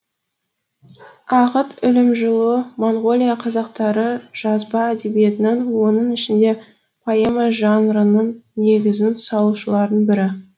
ақыт үлімжіұлы монғолия қазақтары жазба әдебиетінің оның ішінде поэма жанрының негізін салушылардың бірі